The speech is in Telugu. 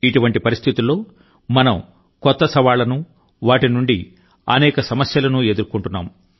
ఇటువంటి పరిస్థితుల్లో మనం కొత్త సవాళ్లను వాటి నుండి అనేక సమస్యలను ఎదుర్కొంటున్నాము